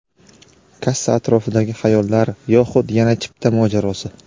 Kassa atrofidagi xayollar yoxud yana chipta mojarosi;.